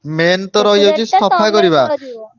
Main ତ ରହିଯାଉଛି ।